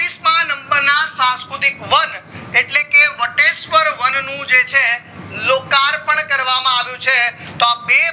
માં number સંસ્કૃતિક વન એટલે કે વટેશ્વર વન નું જે છે લોકાર્પણ કરવામાં આવ્યું છે તો અ બે